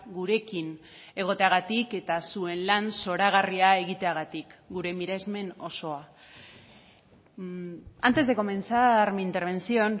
gurekin egoteagatik eta zuen lan zoragarria egiteagatik gure miresmen osoa antes de comenzar mi intervención